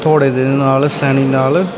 ਘੋੜੇ ਦੇ ਨਾਲ ਸੈਣੀ ਨਾਲ --